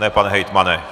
Ne, pane hejtmane.